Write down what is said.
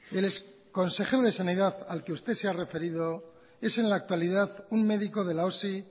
el exconsejero de sanidad al que usted se ha referido es en la actualidad un médico de la osi